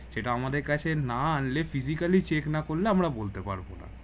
সেটা আমাদের কাছে না আনলে physically check না করলে আমরা বলতে পারবো না